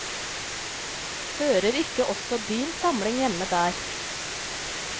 Hører ikke også din samling hjemme der?